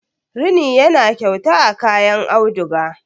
rini yana kyauta a kayan auduga